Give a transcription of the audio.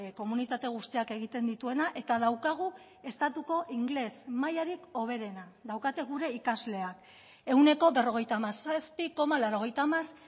komunitate guztiak egiten dituena eta daukagu estatuko ingeles mailarik hoberena daukate gure ikasleak ehuneko berrogeita hamazazpi koma laurogeita hamar